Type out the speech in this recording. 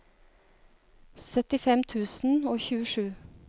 syttifem tusen og tjuesju